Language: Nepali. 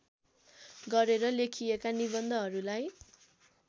गरेर लेखिएका निबन्धहरूलाई